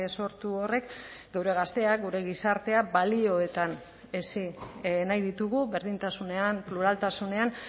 sortu horrek geure gazteak gure gizartea balioetan hezi nahi ditugu berdintasunean pluraltasunean